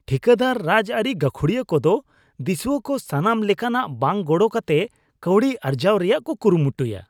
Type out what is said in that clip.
ᱴᱷᱤᱠᱟᱹᱫᱟᱨ ᱟᱨ ᱨᱟᱡᱽᱟᱹᱨᱤ ᱜᱟᱹᱠᱷᱩᱲᱤᱭᱟᱹ ᱠᱚᱫᱚ ᱫᱤᱥᱩᱣᱟᱹ ᱠᱚ ᱥᱟᱱᱟᱢ ᱞᱮᱠᱟᱱᱟᱜ ᱵᱟᱝ ᱜᱚᱲᱚ ᱠᱟᱛᱮ ᱠᱟᱹᱣᱰᱤ ᱟᱨᱡᱟᱣ ᱨᱮᱭᱟᱜ ᱠᱚ ᱠᱩᱨᱩᱢᱩᱴᱩᱭᱟ ᱾